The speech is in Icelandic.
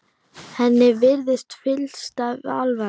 Henni virðist fyllsta alvara.